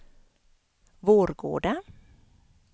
Vårgårda